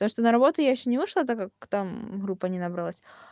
потому что на работу я ещё не вышла так как там группа не набралось